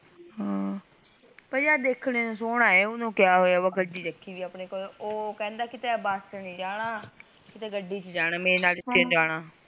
ਹਾ ਪਈ ਦੇਖਣੇ ਨੂ ਸੋਹਣਾ ਐ ਉਨੁ ਕੀਆ ਹੋਆ ਗੱਡੀ ਰੱਖੀ ਵੀ ਓਹ ਕਿਹੰਦਾ ਕੀਤੇ ਬਸ ਚ ਨਹੀਂ ਜਾਣਾ ਕੀਤੇ ਗੱਡੀ ਚ ਜਾਣਾ ਮੇਰੇ ਨਾਲ